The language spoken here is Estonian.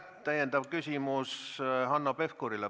Täpsustav küsimus on Hanno Pevkuril.